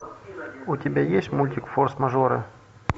у тебя есть мультик форс мажоры